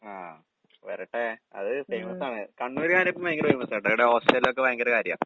ആഹ് വരട്ടെ. അത് ഫേമസാണ്. കണ്ണൂര് കാരിയപ്പം ഭയങ്കര ഫേമസാട്ടോ ഇവടെ ഓസ്ട്രേലിയേലൊക്കെ ഭയങ്കര കാര്യാ.